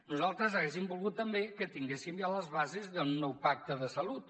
nosaltres haguéssim volgut també que tinguéssim ja les bases d’un nou pacte de salut